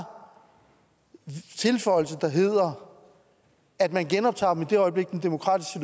tilføjelse der hedder at man genoptager dem i det øjeblik den demokratiske